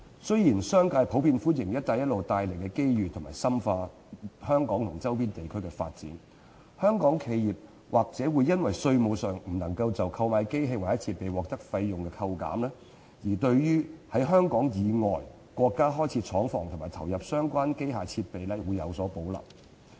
雖然商界普遍歡迎"一帶一路"帶來的機遇，以深化於香港周邊地區的發展，但香港企業或因稅務上不能就購買機器設備獲得費用抵扣，而對於在香港以外國家開設廠房及投入相關機器設備有所保留。